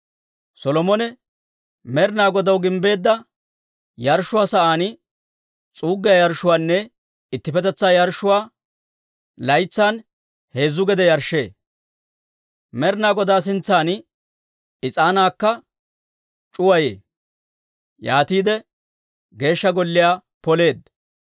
Solomone Med'inaa Godaw gimbbeedda yarshshuwaa sa'aan s'uuggiyaa yarshshuwaanne ittippetetsaa yarshshuwaa laytsan heezzu gede yarshshee; Med'inaa Godaa sintsan is'aanaakka c'uwayee. Yaatiide Geeshsha Golliyaa poleedda.